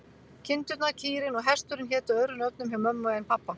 Kindurnar, kýrin og hesturinn hétu öðrum nöfnum hjá mömmu en pabba.